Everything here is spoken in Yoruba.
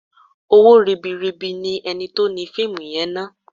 Owó ribi ribi ni ẹni tí ó ni fíìmù yẹn ná.